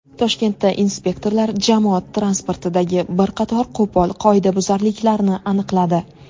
Toshkentda inspektorlar jamoat transportidagi bir qator qo‘pol qoidabuzarliklarni aniqladi.